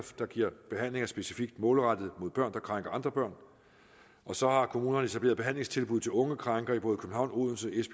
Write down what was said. der giver behandlinger specifikt målrettet børn der krænker andre børn og så har kommunerne etableret behandlingstilbud til unge krænkere i både københavn odense